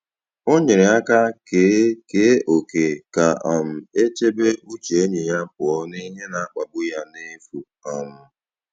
Ọ nyere aka kee kee ókè ka um e chebe uche enyi ya pụọ n’ihe na-akpagbu ya n’efu. um